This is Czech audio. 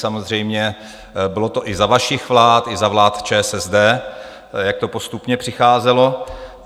Samozřejmě, bylo to i za vašich vlád, i za vlád ČSSD, jak to postupně přicházelo.